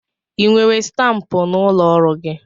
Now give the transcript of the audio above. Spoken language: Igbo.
I nwere stampụ n'ụlọ ọrụ gị?